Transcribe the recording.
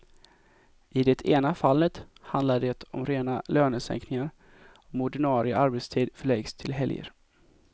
I det ena fallet handlar det om rena lönesänkningar om ordinarie arbetstid förläggs till helger.